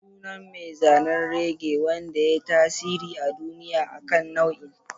Sunan mai zanen reggae wanda ya yi tasiri a duniya akan nau'in.